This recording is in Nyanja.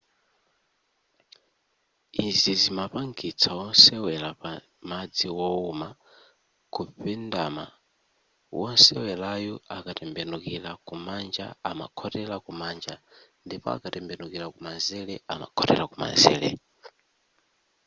izi zimapangitsa wosewera pa madzi wowuma kupendama wosewerayu akatembenukira kumanja amakhotera kumanja ndipo akatembenukira kumanzere amakhotera kumanzere